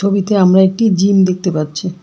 ছবিতে আমরা একটি জিম দেখতে পাচ্ছি।